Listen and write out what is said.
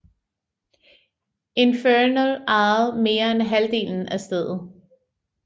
Infernal ejede mere end halvdelen af stedet